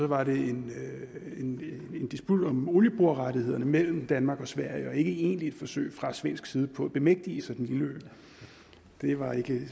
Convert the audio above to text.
var det en disput om olieborerettighederne mellem danmark og sverige og ikke et egentligt forsøg fra svensk side på at bemægtige sig den lille ø det var